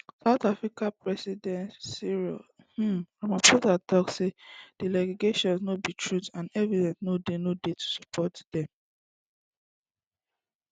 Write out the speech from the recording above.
south african president cyril um ramaphosa tok say di allegations no be true and evidence no dey no dey to support dem